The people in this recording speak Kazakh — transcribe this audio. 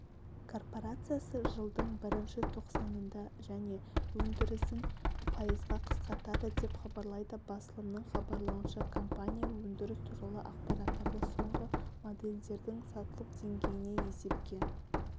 корпорациясы жылдың бірінші тоқсанында және өндірісін пайызға қысқартады деп хабарлайды басылымның хабарлауынша компания өндіріс туралы ақпараттарды соңғы модельдердің сатылу деңгейіне есепке